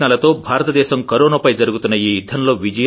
ప్రయత్నాలతో భారతదేశం కొరోనా పై జరుగుతున్న ఈ యుద్ధంలో